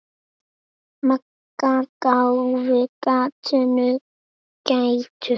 Magga gáfu gatinu gætur.